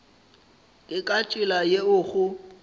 ke ka tsela yeo go